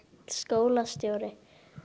skólastjóri